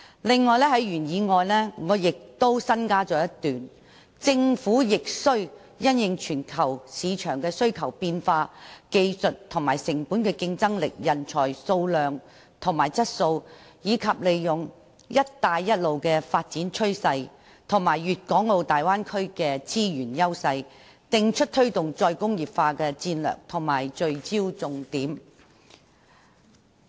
此外，我亦在原議案中加入了一段："政府亦須因應全球市場的需求變化、技術和成本競爭力、人才數量和質素，以及利用'一帶一路'的發展趨勢及粵港澳大灣區的資源優勢，訂出推動'再工業化'的戰略及聚焦重點"。